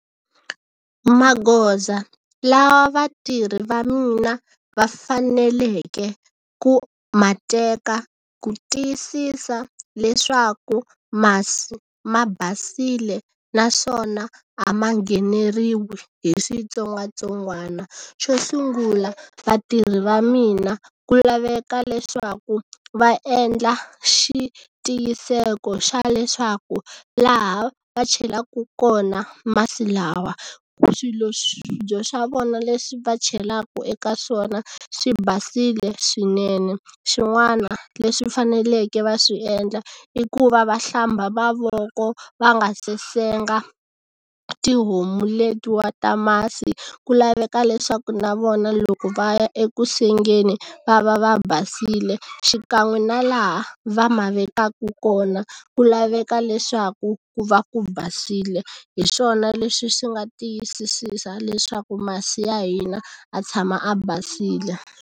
Magoza lawa vatirhi va mina va faneleke ku mateka ku tiyisisa leswaku masi ma basile naswona a ma ngheneriwi hi switsongwatsongwana. Xo sungula vatirhi va mina ku laveka leswaku va endla xitiyiseko xa leswaku laha va chelaka kona masi lawa, swilo swibye swa vona leswi va chelaka eka swona swi basile swinene. Swin'wana leswi faneleke va swi endla i ku va va hlamba mavoko va nga se senga tihomu letiwa ta masi, ku laveka leswaku na vona loko va ya ekusengeni va va va basile, xikan'we na laha va ma vekaka ku kona, ku laveka leswaku ku va ku basile. Hi swona leswi swi nga tiyisisa leswaku masi ya hina ya tshama ya basile.